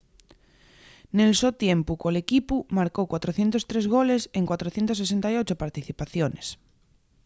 nel so tiempu col equipu marcó 403 goles en 468 participaciones